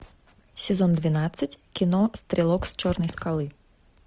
сезон двенадцать кино стрелок с черной скалы